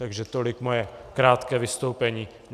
Takže tolik moje krátké vystoupení.